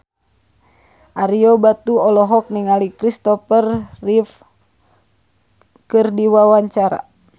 Ario Batu olohok ningali Kristopher Reeve keur diwawancara